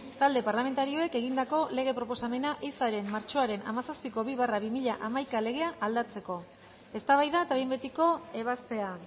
talde parlamentarioek egindako lege proposamena ehizaren martxoaren hamazazpiko bi barra bi mila hamaika legea aldatzeko eztabaida eta behin betiko ebazpena